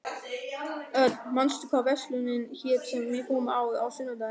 Örn, manstu hvað verslunin hét sem við fórum í á sunnudaginn?